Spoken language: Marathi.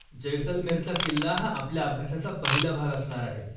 जैसलमेरचा किल्ला हा आपल्या अभ्यासाचा पहिला भाग असणार आहे.